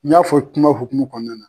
N y'a fɔ i kuma hokumun kɔnɔna na.